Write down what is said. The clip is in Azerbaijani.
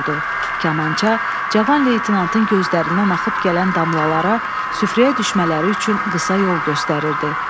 Kamança Cavan leytenantın gözlərindən axıb gələn damlalara süfrəyə düşmələri üçün qısa yol göstərirdi.